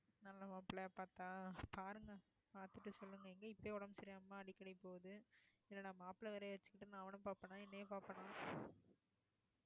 நல்ல மாப்பிள்ளையா பார்த்தா, பாருங்க பார்த்துட்டு சொல்லுங்க எங்க இப்பவே உடம்பு சரியில்லாம அடிக்கடி போகுது இன்னும் நான் மாப்பிள்ளையை வேற வச்சுக்கிட்டு நான் அவனை பாப்பேனா என்னைய பாப்பேனா